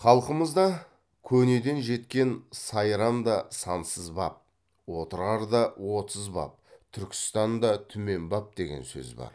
халқымызда көнеден жеткен сайрамда сансыз баб отырарда отыз баб түркістанда түмен баб деген сөз бар